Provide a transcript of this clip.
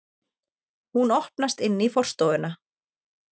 Hún opnast inn í forstofuna.